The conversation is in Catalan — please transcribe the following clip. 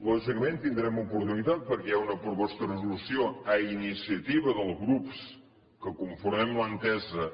lògicament tindrem oportunitat perquè hi ha una proposta de resolució a iniciativa dels grups que conformem l’entesa